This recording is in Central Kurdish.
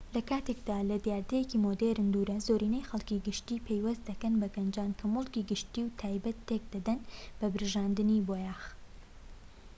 لە کاتێکدا لە دیاردەیەکی مۆدێرن دوورە زۆرینەی خەڵکی گشتی پەیوەستی دەکەن بە گەنجان کە مولکی گشتی و تایبەت تێک دەدەن بە پرژاندنی بۆیاغ